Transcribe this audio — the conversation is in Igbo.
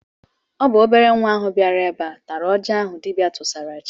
Ọ bụ obere nwa ahụ bịara ebe a tara oji ahụ dibịa tụsara chi.